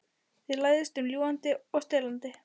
Þið læðist um ljúgandi og stelandi.